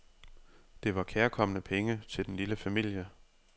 Det var kærkomne penge til den lille familie.